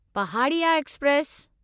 Pahadiya express